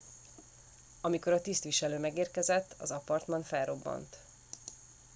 amikor a tisztviselő megérkezett az apartman felrobbant